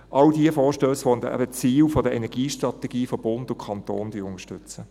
All diese Vorstösse zu den Zielen der Energiestrategie von Bund und Kanton werden wir unterstützen.